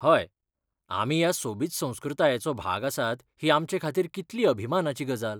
हय, आमी ह्या सोबीत संस्कृतायेचो भाग आसात ही आमचेखातीर कितली अभिमानाची गजाल.